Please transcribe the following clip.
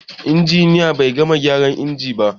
Injiniya bai gama gyara inji ba.